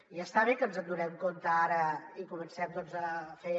i està bé que ens n’adonem ara i comencem a fer